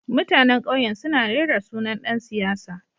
Mutanen kauyen suna rera sunan dan siyasa